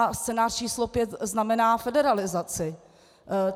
A scénář číslo pět znamená federalizaci.